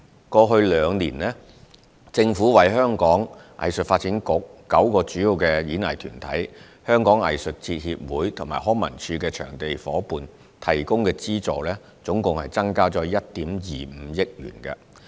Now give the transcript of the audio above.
過去兩年，政府為香港藝術發展局、9個主要演藝團體、香港藝術節協會和康文署的場地夥伴提供的資助共增加1億 2,500 萬元。